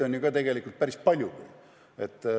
Võimalusi on tegelikult päris palju.